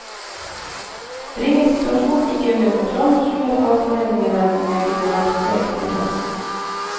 Bringes situasjonen ikke under kontroll, truer fagforeningene med ganeralstreik til høsten.